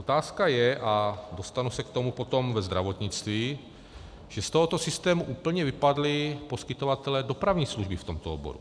Otázka je, a dostanu se k tomu potom ve zdravotnictví, že z tohoto systému úplně vypadli poskytovatelé dopravní služby v tomto oboru.